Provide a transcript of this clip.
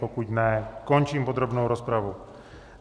Pokud ne, končím podrobnou rozpravu.